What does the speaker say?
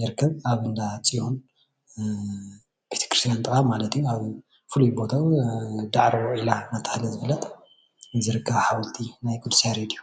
ይርከብ አብ እንዳፅዮን ቤተክርስትያን ጥቓ ማለት እዩ አብ ፍሉይ ቦቱኡ ዳዕሮ ዒላ እንዳተባህለ ዝፍለጥ ዝርከብ ሓወልቲ ናይ ቅዱስ ያሬድ እዩ።